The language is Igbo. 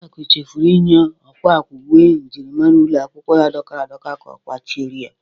Adaku chefụrụ inye ọkwa akwa uwe myịrịmara ụlọ akwụkwọ ya dọkara adọka ka ọ kwachire ya.